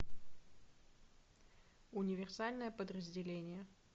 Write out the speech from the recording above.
универсальное подразделение